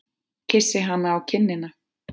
Kyssi hana á kinnina.